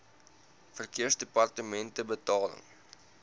verkeersdepartementebetaling